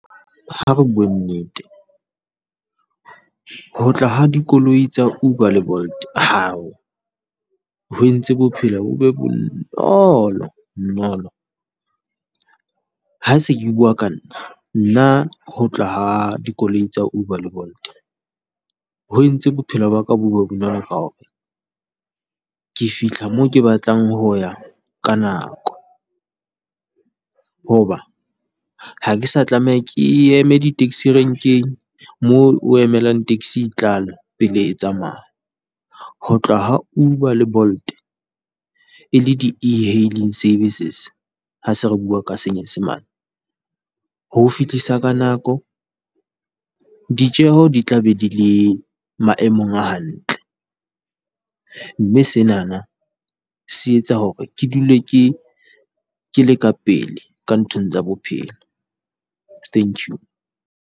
Ha re bue nnete ho tla ha dikoloi tsa Uber le Bolt hao, ho entse bophelo bo be bonolo nolo. Ha se ke bua ka nna, nna ho tla ha dikoloi tsa Uber le Bolt ho entse bophelo ba ka bo be bonolo ka hore, ke fihla moo ke batlang ho ya ka nako. Hoba ha ke sa tlameha ke eme di taxi Renkeng moo o emelang taxi tlale pele e tsamaya, ho tla ha Uber le Bolt e le di-e-Hailing Services ha se re bua ka Senyesemane. Ho o fihlisa ka nako, ditjeho di tla be di le maemong a hantle, mme senana se etsa hore ke dule ke ke le ka pele ka nthong tsa bophelo. Thank you.